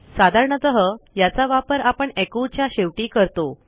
साधारणतः याचा वापर आपण एकोच्या शेवटी करतो